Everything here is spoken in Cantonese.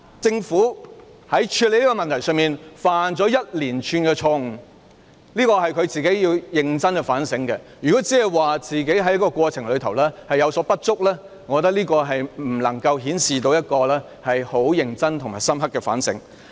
政府在處理這個問題上犯了一連串的錯誤，這是當局要認真反省的，如果當局僅表示在過程中有所不足，我認為未能反映當局有認真和深刻的反省。